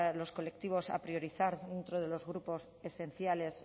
los colectivos a priorizar dentro de los grupos esenciales